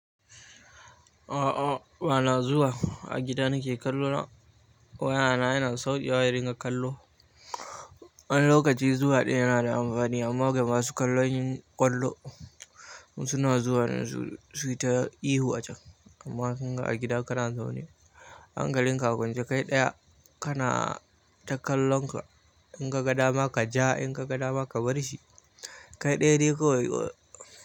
A'a bana zuwa, a gida nake kallo na. Wayana yana saukewa ya ringa kallo. Wani lokaci zuwa ɗaya yana da amfani amma ga masu kallon yin ƙwallo suna zuwa su yi ta ihu a can. Amma a gida ka zanzo ne, an ga linka kunce kai ɗaya kana kallonka, in ka ga dama ka ja, in ka ga dama ka bar shi. Kai ɗaya dai kawai.